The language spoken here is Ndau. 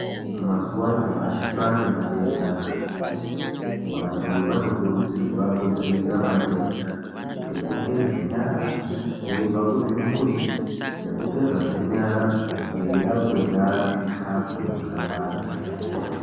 Mazuwanyamashe kwanematenda akati kuti. Vantu vanokurudzirwa kudzivirira matenda ngekugeze nyara veyibva kuzvimbuzi, nekugeza zve nyara veyida kurya zvikafu zvakawanda.